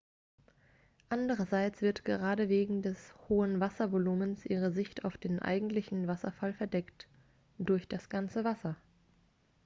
andererseits wird gerade wegen des hohen wasservolumens ihre sicht auf den eigentlichen wasserfall verdeckt durch das ganze wasser